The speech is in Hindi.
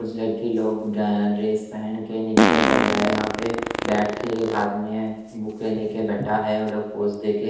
कुछ लड़की लोग ए ड्रेस पहन के नृत्य कर रहे है यहाँ पे बैठ के एक हाथ में बुके लेके बैठा है वो लोग पोज देक --